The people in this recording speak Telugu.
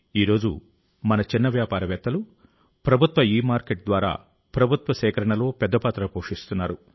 ఈ రోజు మన చిన్న వ్యాపారవేత్తలు ప్రభుత్వ ఇమార్కెట్ ద్వారా ప్రభుత్వ సేకరణలో పెద్ద పాత్ర పోషిస్తున్నారు